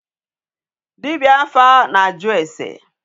Dibịa afa na-ajụ ase.